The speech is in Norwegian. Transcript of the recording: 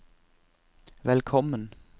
velkommen